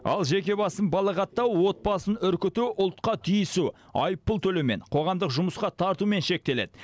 ал жеке басын балағаттау отбасын үркіту ұлтқа тиісу айыппұл төлеумен қоғамдық жұмысқа тартумен шектеледі